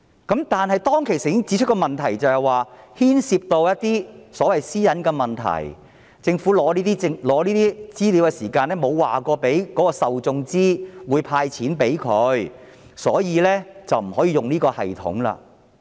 然而，政府當時指出，這會牽涉私隱的問題，即政府取得這些資料時並沒有告知受眾政府將會向他們"派錢"，所以不可以採用這系統。